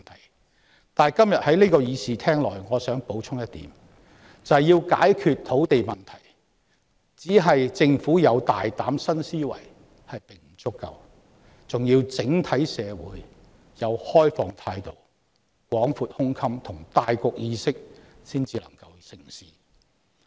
然而，今天我想在這個會議廳內補充一點：要解決土地問題，單靠政府有大膽新思維並不足夠，還要整體社會抱持開放態度、廣闊胸襟和大局意識才能成事。